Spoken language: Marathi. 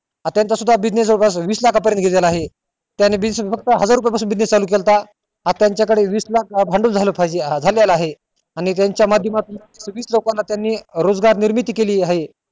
हा त्याचा सुद्धा business च आहे त्यानी business फक्त हजार रुपये पासून सुरु केलात आज त्याच्या कडे वीस लाख भांडवल झालं पाहिजे भांडवल आहे आणि त्याच्या माध्यमातून किती लोकांना त्यानी रोजगार निर्मिती केली आहे